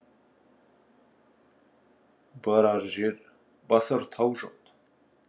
барар жер басар тау жоқ